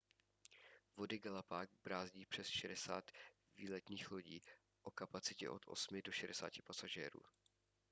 vody galapág brázdí přes 60 výletních lodí o kapacitě od 8 do 60 pasažérů